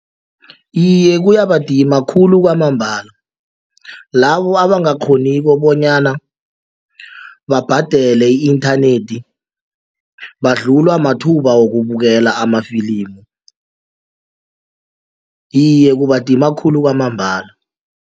Iye, kuyabadima khulu kwamambala labo abangakghoniko bonyana babhadele i-inthanethi badlulwa mathuba wokukubukela amafilimu iye kubandima khulu kwamambala.